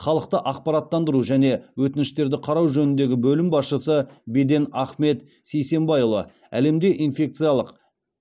халықты ақпараттандыру және өтініштерді қарау жөніндегі бөлім басшысы беден ахмет сисенбайұлы әлемде инфекциялық